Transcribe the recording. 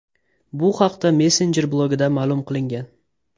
Bu haqda messenjer blogida ma’lum qilingan .